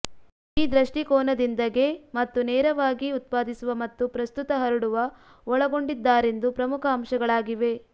ಈ ದೃಷ್ಟಿಕೋನದಿಂದ ಗೆ ಮತ್ತು ನೇರವಾಗಿ ಉತ್ಪಾದಿಸುವ ಮತ್ತು ಪ್ರಸ್ತುತ ಹರಡುವ ಒಳಗೊಂಡಿದ್ದಾರೆಂದು ಪ್ರಮುಖ ಅಂಶಗಳಾಗಿವೆ